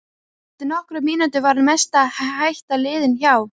Eftir nokkrar mínútur var mesta hætta liðin hjá.